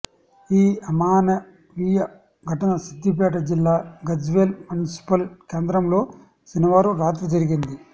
ఈ అమానవీయ ఘటన సిద్దిపేట జిల్లా గజ్వేల్ మున్సిపల్ కేంద్రంలో శనివారం రాత్రి జరిగింది